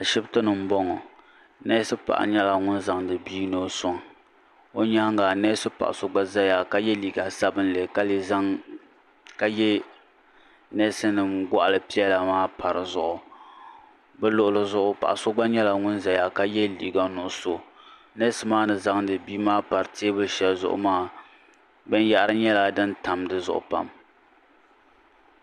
Ashipti ni m boŋɔ neesi paɣa nyɛla ŋun zaŋdi bia ni o soŋ o nyaanga neesi paɣa so gba zaya ka ye liiga sabinli ka ye neesi nima gɔɣali piɛla maa pa dizuɣu bɛ luɣuli zuɣu paɣa so gba nyɛla ŋun zaya ka ye liiga nuɣuso neesi maa ni zaŋdi bia maa pari teebuli sheli zuɣu maa binyahari nyɛla din tam dizuɣu pam.